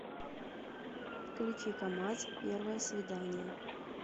включи камаз первое свидание